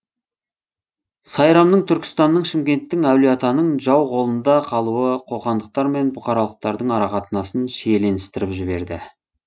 сайрамның түркістанның шымкенттің әулиеатаның жау қолында қалуы қоқандықтар мен бұқаралықтардың арақатынасын шиеленістіріп жіберді